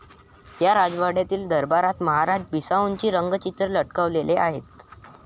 या राजवाड्यातील दरबारात महाराजा बिसाऊंचे रंगचित्र लटकवलेले आहे.